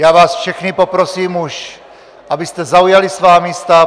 Já vás všechny poprosím, abyste už zaujali svá místa.